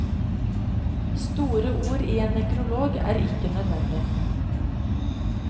Store ord i en nekrolog er ikke nødvendig.